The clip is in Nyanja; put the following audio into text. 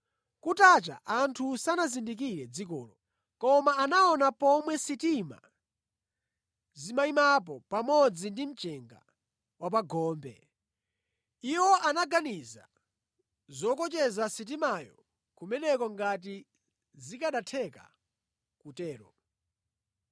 Kutacha, anthu sanazindikire dzikolo, koma anaona pomwe sitima zimayimapo pamodzi ndi mchenga wa pa gombe. Iwo anaganiza zokocheza sitimayo kumeneko ngati zikanatheka kutero.